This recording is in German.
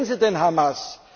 Warum wählen sie denn Hamas?